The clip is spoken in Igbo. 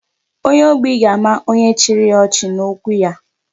Onye ogbi ga-ama onye chiri ya ọchị n'okwu ya.